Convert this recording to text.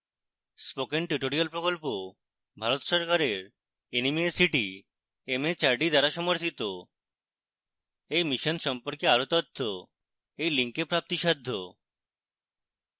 spoken tutorial প্রকল্প ভারত সরকারের nmeict mhrd দ্বারা সমর্থিত এই mission সম্পর্কে আরো তথ্য এই link প্রাপ্তিসাধ্য